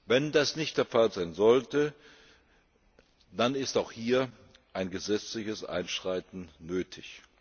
Wenn das nicht der Fall sein sollte, dann ist auch hier ein gesetzliches Einschreiten nötig.